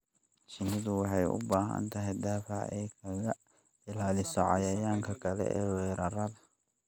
Shinnidu waxay u baahan tahay difaac ay kaga ilaaliso cayayaanka kale ee weerara.